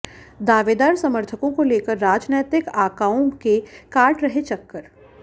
दावेदार समर्थकों को लेकर राजनैतिक आकाओं के काट रहे चक्कर